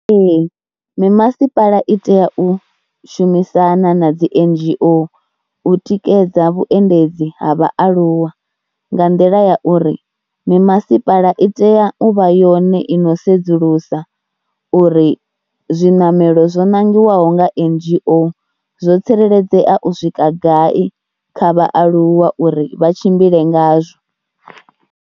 Ee mimasipala i tea u shumisana na dzi N_G_O u tikedza vhuendedzi ha vhaaluwa nga nḓila ya uri mimasipala i tea u vha yone i no sedzulusa uri zwiṋamelo zwo nangiwaho nga N_G_O zwo tsireledzea u swika gai kha vhaaluwa uri vha tshimbile ngazwo.